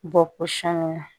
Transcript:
Bɔ pɔsɔn na